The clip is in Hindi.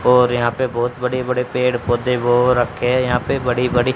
और यहां पे बहोत बड़े बड़े पेड़ पौधे बो रखे है यहां पे बड़ी बड़ी--